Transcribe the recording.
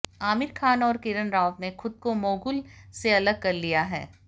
आमिर खान और किरण राव ने खुद को मोगुल से अलग कर लिया है